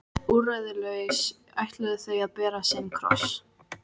Úrræðalaus ætluðu þau að bera sinn kross.